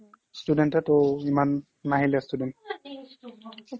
student এ ত' ইমান নাহিলে student